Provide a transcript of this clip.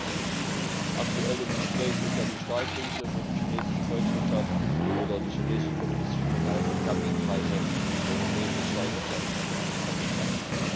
Wir hatten verschiedene Krisen aktuell im Gespräch ist ja die Stahlkrise, wo die chinesische Volkswirtschaft oder die chinesische kommunistische Partei durch Dumpingpreise die europäische Stahlwirtschaft ganz einfach kaputt macht.